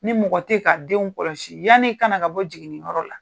Ni mɔgɔ teyi ka denw kɔlɔsi yann'i ka na ka bɔ jiginniyɔrɔ la.